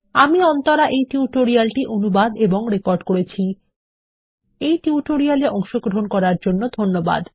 আমি অন্তরা এই টিউটোরিয়াল টি অনুবাদ এবং রেকর্ড করেছি এই টিউটোরিয়াল এ অংশগ্রহন করার জন্য ধন্যবাদ